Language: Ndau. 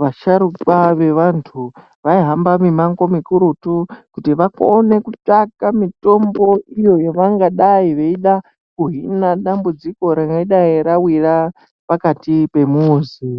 vasharukwa vevantu vaihamba mimango mikurutu. Kuti vakone kutsvaka mitombo iyo yavangadai veida kuhina dambudziko rinodai ravira pakati pemuzi.